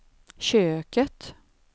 köket